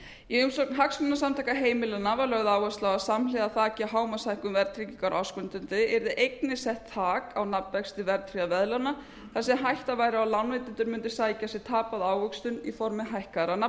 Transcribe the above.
í umsögn hagsmunasamtaka heimilanna var lögð áhersla á að samhliða þaki hámarkshækkun verðtryggingar á ársgrundvelli yrði einnig sett þak á nafnvexti verðtryggðra veðlána þar sem hætta væri á að lánveitendur mundu sækja sér tapaða ávöxtun í formi hækkaðra